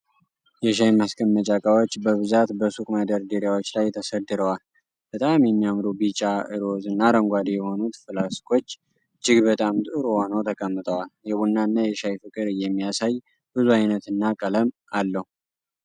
የሻይ ማስቀመጫ እቃዎች በብዛት በሱቅ መደርደሪያዎች ላይ ተሰድረዋል። በጣም የሚያምሩ ቢጫ፣ ሮዝ እና አረንጓዴ የሆኑት ፍላስኮች እጅግ በጣም ጥሩ ሆነው ተቀምጠዋል። የቡናና የሻይ ፍቅር የሚያሳይ ብዙ አይነትና ቀለም አለው።